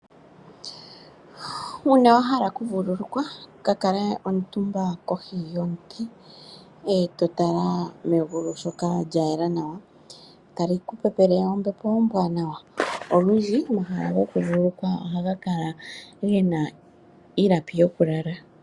Uuna wahala okuvulukwa, kakale omutumba kohi yomuti, e totala megulu shoka lyayela nawa, notali ku pepele ombepo ombwaanawa. Olundji omahala gokuvululukwa ohaga Kala gena iilapi yokulala.